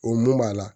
O mun b'a la